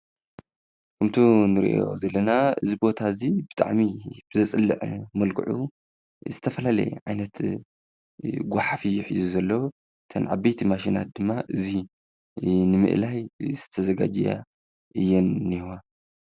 ከምቲ እንሪኦ ዘለና እዚ ቦታ እዚ ብጣዕሚ ዘፅልእ መልከዑ ዝተፈላለዩ ዓይነት ጓሓፍ እዩ ሒዙ ዘሎ። እተን ዓበይቲ ማሽናት ድማ እዙይ ንምእላይ እየን ተዛጋጅየን እንሄዋ።